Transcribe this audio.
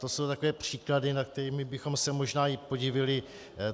To jsou takové příklady, nad kterými bychom se možná i podivili.